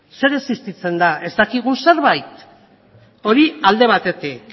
zer existitzen da ez dakigun zerbait hori alde batetik